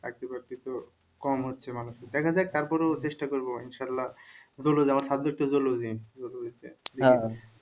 চাকরি বাকরি তো কম হচ্ছে দেখা যাক তারপরেও চেষ্টা করব ইনশাআল্লাহ